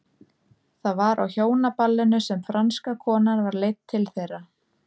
Það var á hjónaballinu sem franska konan var leidd til þeirra.